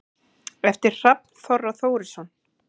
eftir hrafn þorra þórisson